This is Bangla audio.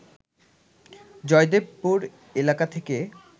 জয়দেবপুর এলাকা থেকে